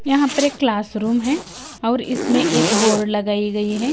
यहां पर एक क्लास रूम है और इसमें एक बोर्ड लगाई गई है।